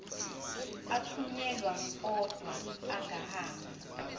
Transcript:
athunyelwa odwa angahambi